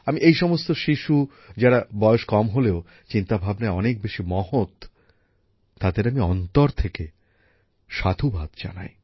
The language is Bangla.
আমি এই সমস্ত শিশু যারা বয়েস কম হলেও চিন্তাভাবনায় অনেক বেশি মহৎ তাদের আমি অন্তর থেকে সাধুবাদ জানাই